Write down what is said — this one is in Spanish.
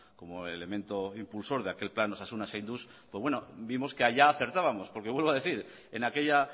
como elemento impulsor de aquel plan osasuna zainduz pues bueno vimos que allá acertábamos porque vuelvo a decir en aquella